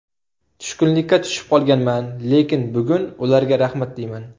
Tushkunlikka tushib qolganman, lekin bugun ularga rahmat deyman.